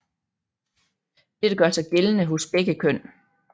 Dette gør sig gældende hos begge køn